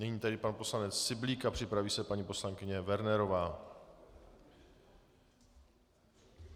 Nyní tedy pan poslanec Syblík a připraví se paní poslankyně Wernerová.